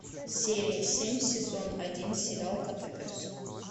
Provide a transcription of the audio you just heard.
серия семь сезон один сериал котопес